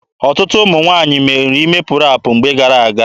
Ọtụtụ ụmụ nwaanyị nwere ime ọpụpụ na mgbe gara-aga.